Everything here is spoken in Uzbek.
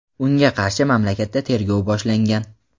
unga qarshi mamlakatda tergov boshlangan.